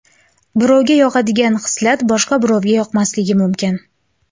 Birovga yoqadigan xislat boshqa birovga yoqmasligi mumkin.